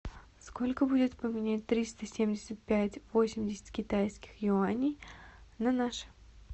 сколько будет поменять триста семьдесят пять восемьдесят китайских юаней на наши